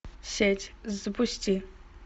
сеть запусти